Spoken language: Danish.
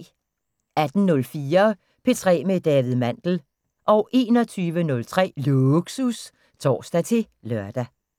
18:04: P3 med David Mandel 21:03: Lågsus (tor-lør)